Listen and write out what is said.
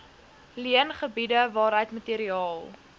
leengebiede waaruit materiaal